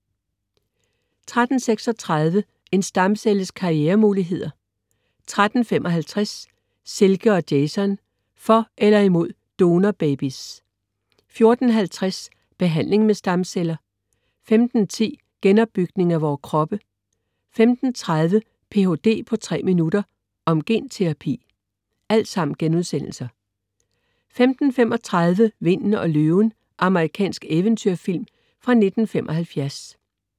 13.36 En stamcelles karrieremuligheder* 13.55 Silke og Jason. For eller imod donorbabies* 14.50 Behandling med stamceller* 15.10 Genopbygning af vores kroppe* 15.30 Ph.d. på 3 minutter, om genterapi* 15.35 Vinden og løven. Amerikansk eventyrfilm fra 1975